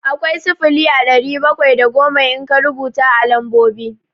Akwai sifili a ɗari bakwai da goma in ka rubuta a lambobi.